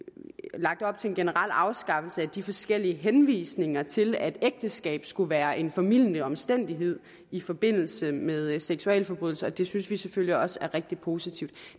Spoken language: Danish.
lagt op til en generel afskaffelse af de forskellige henvisninger til at ægteskab skulle være en formildende omstændighed i forbindelse med seksualforbrydelser det synes vi selvfølgelig også er rigtig positivt